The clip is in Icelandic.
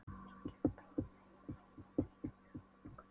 Svo kem ég bráðum heim, vonandi í bítið á morgun.